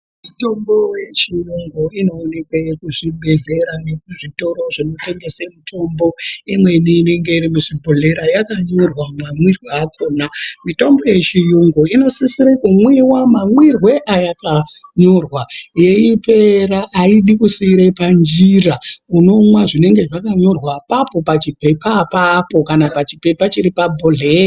Mitombo yechiyungu inoonekwe kuzvibhehlera nekuzvitoro zvinotengese mitombo imweni inenge iri muzvibhohleya yakanyorwa mamwirwe akona mitombo yechiyungu inosise kumwiwa mamwirwe ayakanyorwa yeipera aidi kusiire panjira unomwa zvinenge zvakanyorwa pachipepa apapo kana pachipepa chiri pabhuhleya rakona.